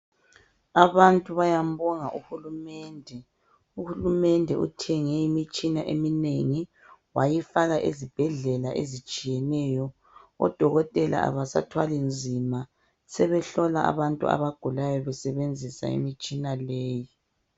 Abantu bayambonga uHulumende. UHulumende uthenge imitshina eminengi wayifaka ezibhedlela ezitshiyeneyo. Odokotela abasathwali nzima, sebehlola abantu abagulayo besebenzisa imitshina leyi.